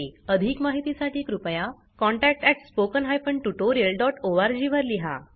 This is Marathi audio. अधिक माहितीसाठी कृपया contact at spoken hyphen tutorial dot org वर लिहा